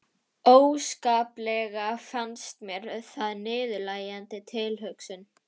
Óskaplega fannst mér það niðurlægjandi tilhugsun.